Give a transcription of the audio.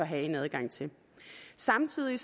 have adgang til samtidig